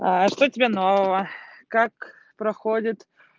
что у тебя нового как проходит